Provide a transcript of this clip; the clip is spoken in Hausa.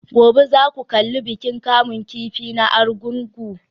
Gobe ​​za ku kalli bikin kamun kifi na Argungu?